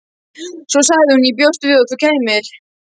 Svo sagði hún: Ég bjóst við að þú kæmir.